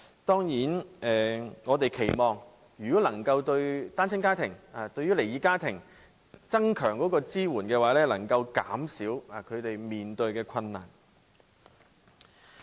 當然，我們期望如果能夠增強對單親家庭和離異家庭的支援，便能夠減少他們面對的困難。